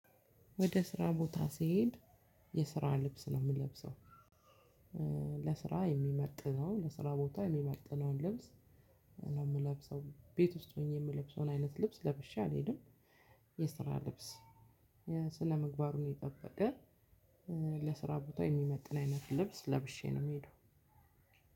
ወደ ስራ ቦታ ሲሄድ የስራ ልብስ ነው የምለብሰው ለስራ የሚመጥነው ለስራ ቦታ የሚመጥነውን ልብስ ነው የምለብሰው ቤት ውስጥ ሆኜ የምለብሰውን አይነት ልብስ ለብሼ አልሄድም። የስራ ልብስ ስነ ምግባሩ ነው የጠበቀ ለስራ ቦታ የሚመጥን አይነት ልብስ ለብሼ ነው የምሄደው